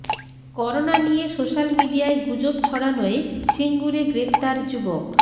corona নিয়ে social মিডিয়ায় গুজব ছড়ানোয় সিঙ্গুরে গ্রেফতার যুবক